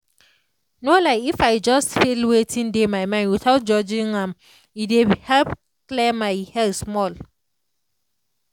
no lie if i just feel wetin dey my mind without judging am e dey help clear my head small.